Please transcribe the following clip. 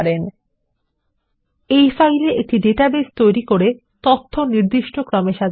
personal finance trackerঅডস এ একটি ডাটাবেস তৈরী করুন এবং তথ্য নির্দিষ্ট ক্রমে সাজান